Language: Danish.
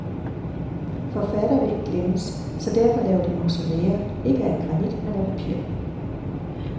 Forfattere vil ikke glemmes, så derfor laver de mausolæer, ikke af granit, men af papir.